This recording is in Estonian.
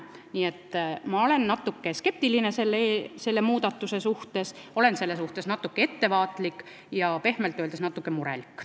Nii et ma olen natuke skeptiline selle muudatuse suhtes, olen natuke ettevaatlik ja pehmelt öeldes natuke murelik.